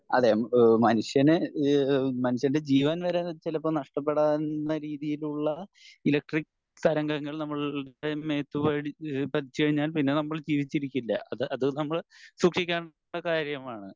അതെ എഹ് മനുഷ്യന് ഈഹ് മനുഷ്യൻ്റെ ജീവൻ വരെ ചെലപ്പോ നഷ്ടപ്പെടാവുന്ന രീതിയിലുള്ള ഇലക്ട്രിക്ക് തരംഗങ്ങൾ നമ്മളുടെ മേത്ത് പതിച്ചു കഴിഞ്ഞാൽ പിന്നെ നമ്മൾ ജീവിച്ചിരിക്കില്ല അത് അത് നമ്മൾ സൂക്ഷിക്കേണ്ട കാര്യമാണ്